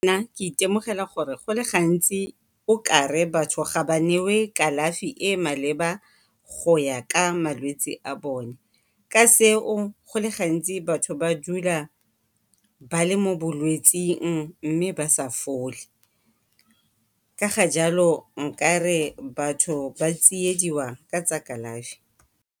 ke itemogela gore go le gantsi okare batho ga ba newe kalafi e e maleba go ya ka malwetsi a bone, ka seo go le gantsi batho ba dula ba le mo bolwetsing mme ba sa fole. Ka ga jalo nkare batho ba tsiediwa ka tsa kalafi.